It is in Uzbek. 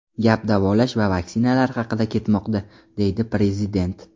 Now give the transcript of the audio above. Gap davolash va vaksinalar haqida ketmoqda”, deydi prezident.